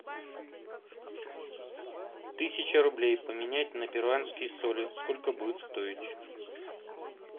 тысяча рублей поменять на перуанские соли сколько будет стоить